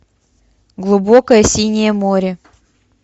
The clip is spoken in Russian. глубокое синее море